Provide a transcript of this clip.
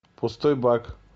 пустой бак